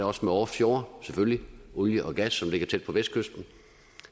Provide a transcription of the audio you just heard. også med offshore selvfølgelig olie og gas som ligger tæt på vestkysten